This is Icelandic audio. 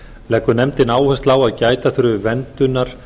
leggur nefndin áherslu á að gæta þurfi verndunar